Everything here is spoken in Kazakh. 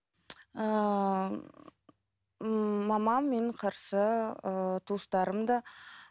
ыыы мамам менің қарсы ыыы туыстарым да